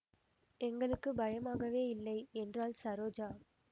எங்களுக்கு பயமாகவே இல்லை என்றாள் ஸரோஜா